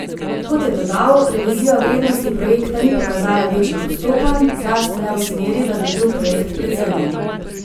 Kot je dodal, revizija vrednosti projekta ni pokazala večjih odstopanj, zlasti ne v smeri, da bi bil projekt precenjen.